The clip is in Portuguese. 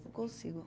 Não consigo.